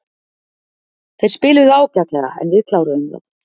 Þeir spiluðu ágætlega en við kláruðum þá.